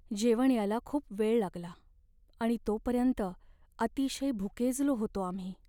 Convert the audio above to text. जेवण यायला खूप वेळ लागला आणि तोपर्यंत अतिशय भुकेजलो होतो आम्ही.